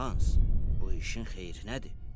Hans, bu işin xeyrinədir?”